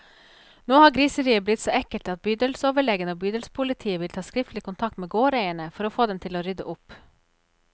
Nå har griseriet blitt så ekkelt at bydelsoverlegen og bydelspolitiet vil ta skriftlig kontakt med gårdeierne, for å få dem til å rydde opp.